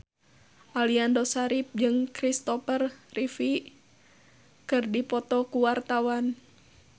Aliando Syarif jeung Kristopher Reeve keur dipoto ku wartawan